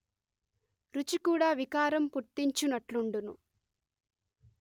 రుచి కూడా వికారం పుట్తించునట్లుండును